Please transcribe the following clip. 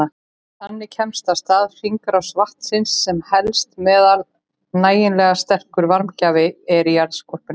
Þannig kemst af stað hringrás vatnsins sem helst meðan nægilega sterkur varmagjafi er í jarðskorpunni.